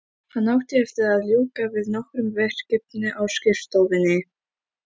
Hann átti eftir að ljúka við nokkur verkefni á skrifstofunni.